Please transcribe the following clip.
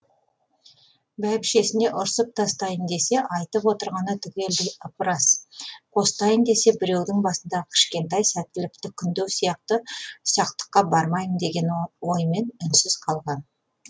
бәйбішесіне ұрсып тастайын десе айтып отырғаны түгелдей ып ырас қостайын десе біреудің басындағы кішкентай сәттілікті күндеу сияқты ұсақтыққа бармайын деген оймен үнсіз қалған